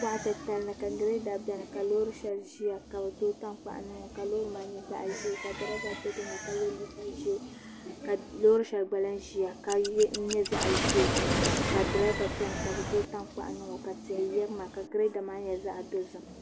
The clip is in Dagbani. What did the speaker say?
Boɣa titali ni la girɛda biɛni ka loori shɛli ʒiya ka bi tooi tankpaɣu niŋo ka loori maa nyɛ zaɣ ʒiɛ ka loori shɛli gba lahi ʒiya ka nyɛ zaɣ ʒiɛ ka durova biɛni ka bi tooi tankpaɣu niŋo ka tia yirina ka Girada maa nyɛ zaɣ dozim